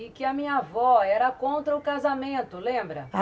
E que a minha avó era contra o casamento, lembra?